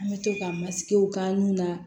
An bɛ to ka masigiw k'a nun na